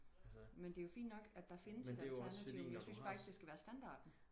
men det er jo fint nok at der findes alternativer men jeg synes bare ikke det skal være standarten